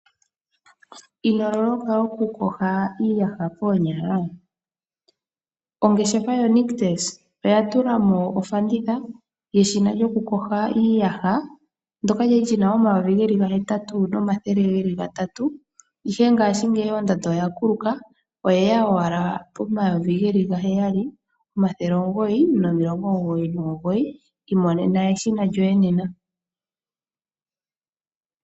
Ino loloka oku yoga iiyaha koonyala? Ongeshefa yaNictus oya tulamo ofanditha yeshina lyoku yoga iiyaha. Ndyoka lyali lyina omayovi geli gahetatu, nomathele geli gatatu nomilongo mbali nomugoyi. Ihe ngashigeyi ondando ya kuluka oyeya owala po omayovi gaheyali omathele omugoyi nomilongo omugoyi nomugoyi. Imonena eshina lyoye nena.